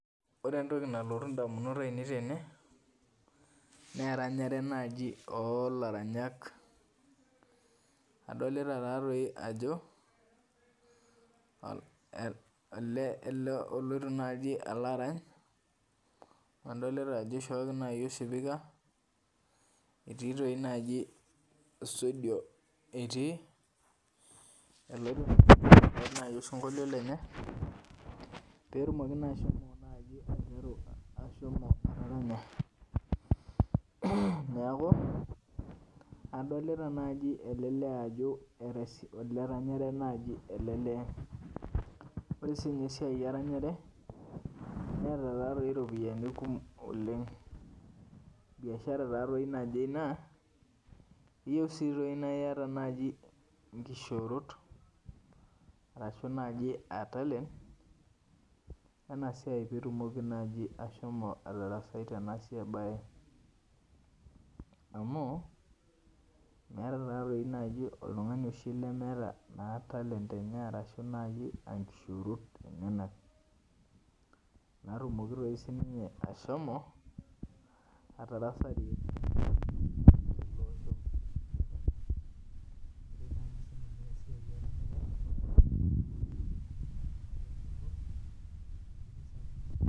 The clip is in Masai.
Ore entoki nalotu ndamunot ainei tene na eranyare olaranyaj adolta taatoi ajo eloito ele alo arany adolta ajo ishookinai osipika etii naji studio etii arany osinkoilio lenye neaku adolta nai ele lee oleranyare nai ele lee ore esiai eranyare neeta taatoi ropiyani kumok oleng biashara naje ina keyieu na iata nkishoorot pitumoki ashomo atarasai tenabae amu metta taatoi oltungani lemeta talent enye ashunkishoorot enyenak natumoki sinye ashomo atarasai